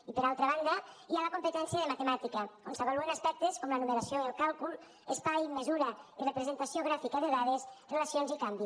i per altra banda hi ha la competència de matemàtica on s’avaluen aspectes com la numeració i el càlcul espai mesura i representació gràfica de dades relacions i canvi